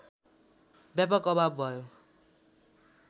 व्यापक अभाव भयो